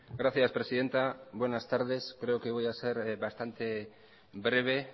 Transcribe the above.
gracias presidenta buenas tardes creo que voy a ser bastante breve